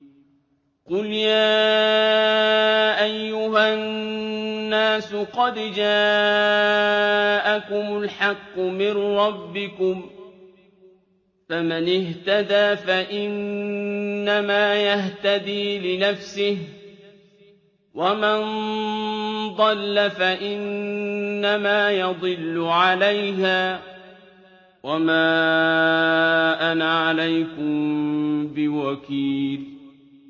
قُلْ يَا أَيُّهَا النَّاسُ قَدْ جَاءَكُمُ الْحَقُّ مِن رَّبِّكُمْ ۖ فَمَنِ اهْتَدَىٰ فَإِنَّمَا يَهْتَدِي لِنَفْسِهِ ۖ وَمَن ضَلَّ فَإِنَّمَا يَضِلُّ عَلَيْهَا ۖ وَمَا أَنَا عَلَيْكُم بِوَكِيلٍ